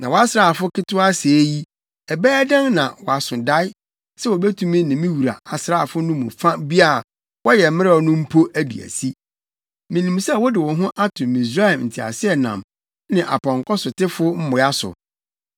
Na wʼasraafo ketewa sɛɛ yi, ɛbɛyɛ dɛn na woaso dae, sɛ wubetumi ne me wura asraafo no mu fa bi a wɔyɛ mmerɛw no mpo adi asi. Minim sɛ wode wo ho ato Misraim nteaseɛnam ne apɔnkɔsotefo mmoa so.